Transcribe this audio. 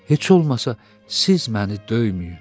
heç olmasa siz məni döyməyin.